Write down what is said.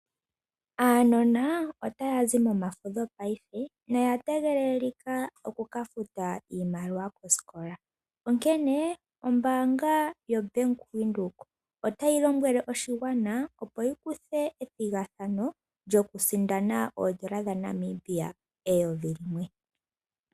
Aanona otaya zi momafudho paife noya tegelelika oku kafuta iimaliwa kosikola onkene, ombaanga yo Bank_Windhoek otayi lombwele oshigwana opo shi kuthe ethigathano lyoku sindana oodola dha Namibia eyovi limwe.